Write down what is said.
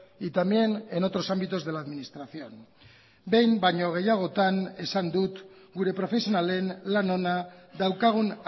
y también en otros ámbitos de la administración behin baino gehiagotan esan dut gure profesionalen lan ona daukagun